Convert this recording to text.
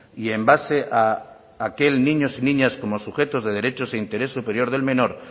y en base a aquel niños y niñas como sujetos de derechos e interés superior del menor